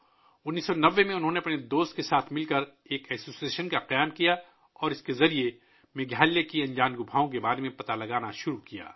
1990 ء میں انہوں نے اپنے دوست کے ساتھ مل کر ایک انجمن قائم کی اور اس کے ذریعے انہوں نے میگھالیہ کے نامعلوم غاروں کے بارے میں پتہ لگانا شروع کیا